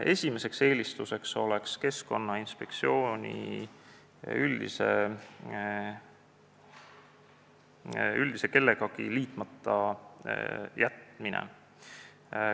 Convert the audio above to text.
Esimene eelistus oleks Keskkonnainspektsioon üldse kellegagi liitmata jätta.